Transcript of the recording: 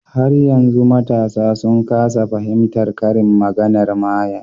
Har yanzu matasa sun kasa fahimtar karin maganar mayen